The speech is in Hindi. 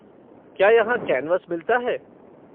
क्या यहाँ कैनवास मिलता है?